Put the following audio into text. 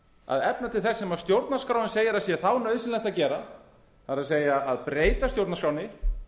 að efna til þess sem stjórnarskráin segir að sé þá nauðsynlegt að gera það er að breyta stjórnarskránni